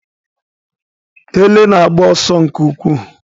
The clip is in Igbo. Ele na-agba ọsọ nke ukwuu